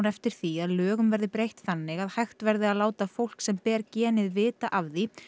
eftir því að lögum verði breytt þannig að hægt verði að láta fólk sem ber genið vita af því